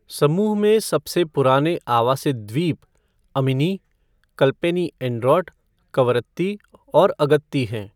समूह में सबसे पुराने आवासित द्वीप अमिनी, कल्पेनी एंड्रोट, कवरत्ती और अगत्ती हैं।